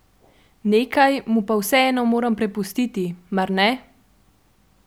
Nekaj mu pa vseeno moram prepustiti, mar ne?